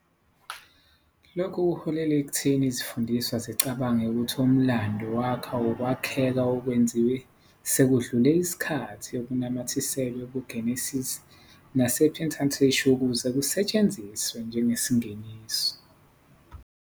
Lokhu kuholele ekutheni izifundiswa zicabange ukuthi uMlando wakha ukwakheka okwenziwe sekwedlule isikhathi okunamathiselwe kuGenesise nasePentateuch ukuze kusetshenziswe njengesingeniso.